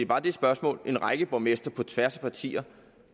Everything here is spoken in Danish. bare det spørgsmål en række borgmestre på tværs af partier